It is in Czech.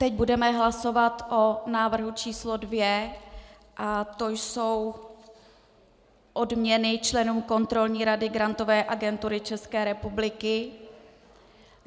Teď budeme hlasovat o návrhu číslo dvě a to jsou odměny členům Kontrolní rady Grantové agentury České republiky.